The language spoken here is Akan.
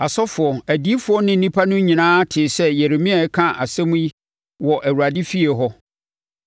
Asɔfoɔ, adiyifoɔ ne nnipa no nyinaa tee sɛ Yeremia reka saa nsɛm yi, wɔ Awurade efie hɔ.